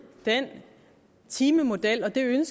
timemodellen